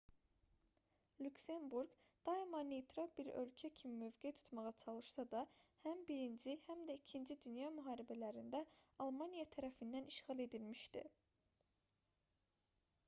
lüksemburq daima neytral bir ölkə kimi mövqe tutmağa çalışsa da həm i həm də ii dünya müharibələrində almaniya tərəfindən işğal edilmişdi